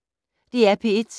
DR P1